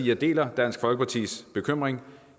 jeg deler dansk folkepartis bekymring